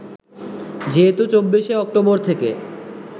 যেহেতু ২৪ শে অক্টোবর থেকে